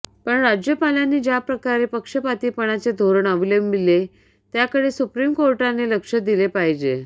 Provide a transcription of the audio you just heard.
पण राज्यपालांनी ज्याप्रकारे पक्षपातीपणाचे धोरण अवलंविले त्याकडे सुप्रीम कोर्टाने लक्ष दिले पाहिजे